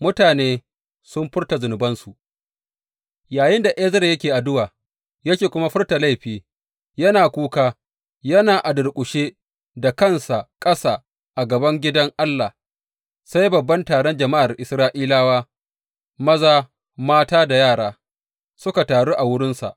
Mutane sun furta zunubansu Yayinda Ezra yake addu’a, yake kuma furta laifi, yana kuka, yana a durƙushe da kansa ƙasa a gaban gidan Allah, sai babban taron jama’ar Isra’ilawa, maza, mata da yara, suka taru a wurinsa.